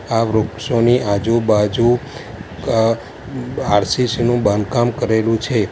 આ વૃક્ષોની આજુબાજુ અં આર_સી_સી નું બાંધકામ કરેલું છે.